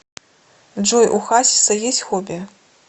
джой у хасиса есть хобби